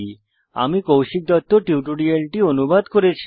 আমি কৌশিক দত্ত টিউটোরিয়ালটি অনুবাদ করেছি